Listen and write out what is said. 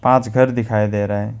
आज घर दिखाई दे रहा है।